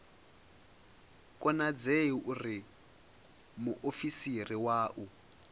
konadzei uri muofisiri wa u